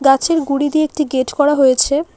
গাছের গুঁড়ি দিয়ে একটি গেট করা হয়েছে।